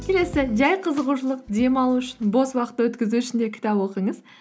келесі жай қызығушылық демалу үшін бос уақыт өткізу үшін де кітап оқыңыз